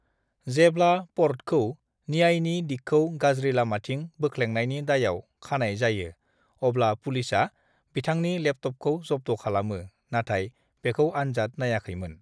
जेब्ला पर्टखौ न्यायनि दिगखौ गाज्रि लामाथिं बोख्लेंनायनि दायआव खानाय जायो अब्ला पुलिसआ बिथांनि लेपटपखौ जब्द' खालामो नाथाय बेखौ आनजाद नाइयाखैमोन।